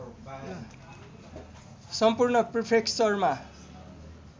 सम्पूर्ण प्रिफेक्चरमा